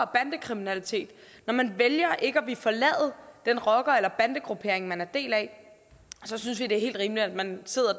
bandekriminalitet når man vælger ikke at ville forlade den rocker eller bandegruppering man er en del af så synes vi det er helt rimeligt at man sidder